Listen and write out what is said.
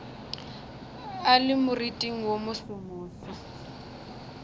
a le moriting wo mosomoso